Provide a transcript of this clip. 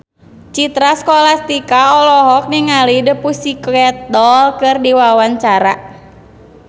Citra Scholastika olohok ningali The Pussycat Dolls keur diwawancara